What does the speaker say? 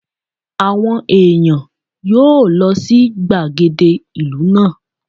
Àwọn ẹ̀yàn yóò lọ sí gbàgede ìlú náà.